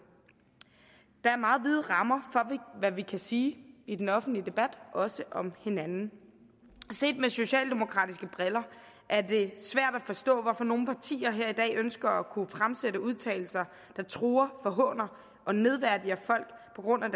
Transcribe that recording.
der er meget vide rammer for hvad vi kan sige i den offentlige debat også om hinanden set med socialdemokratiske briller er det svært at forstå hvorfor nogle partier her i dag ønsker at kunne fremsætte udtalelser der truer forhåner og nedværdiger folk på grund af